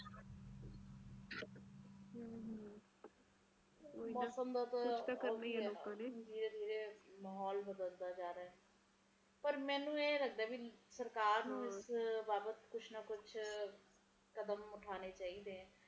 ਕੁਸ਼ ਤਾ ਕਰਨਾ ਹੀ ਆ ਲੋਕਾਂ ਨੇ ਮਾਹੌਲ ਬਦਲਦਾ ਜਾ ਰਿਹਾ ਪਰ ਮੈਨੂੰ ਇਹ ਲੱਗਦਾ ਕਿ ਸਰਕਾਰ ਨੂੰ ਇਸ ਬਾਵਤ ਕੁਜ ਨਾ ਕੁਜ ਕਦਮ ਉਠਾਨੇ ਚਾਹੀਦੇ ਹਨ